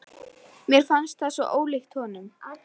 Mér fannst það svo ólíkt honum.